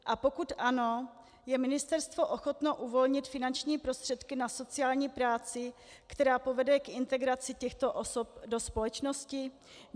A pokud ano, je ministerstvo ochotno uvolnit finanční prostředky na sociální práci, která povede k integraci těchto osob do společnosti?